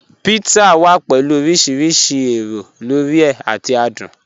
Pizza wà pẹ̀lú ọ̀rìṣìrísì èró lórí è àti àdùn.